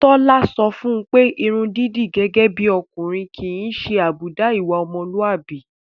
Tálọ́ sọ fún un pé irun dídì gẹ́gẹ́ bí ọkùnrin kì í ṣe àbùdá ìwà ọmọlúàbí.